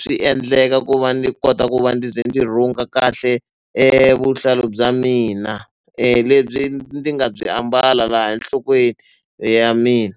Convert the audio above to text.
swi endleka ku va ndzi kota ku va ndzi ze ndzi rhunga kahle vuhlalu bya mina lebyi ndzi nga byi ambala laha enhlokweni ya mina.